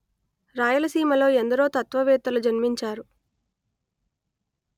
రాయలసీమలో ఎందరో తత్వవేత్తలు జన్మించారు